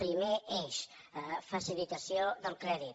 primer eix facilitació del crèdit